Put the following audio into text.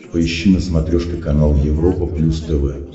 поищи на смотрешке канал европа плюс тв